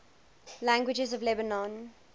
languages of lebanon